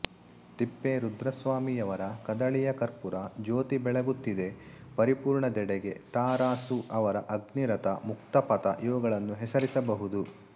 ತಿಪ್ಪೇರುದ್ರಸ್ವಾಮಿಯವರ ಕದಳಿಯ ಕರ್ಪುರ ಜ್ಯೋತಿ ಬೆಳಗುತ್ತಿದೆ ಪರಿಪುರ್ಣದೆಡೆಗೆ ತ ರಾ ಸು ಅವರ ಅಗ್ನಿರಥ ಮುಕ್ತಪಥ ಇವುಗಳನ್ನು ಹೆಸರಿಸಬಹುದು